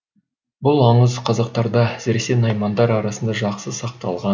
бұл аңыз қазақтарда әсіресе наймандар арасында жақсы сақталған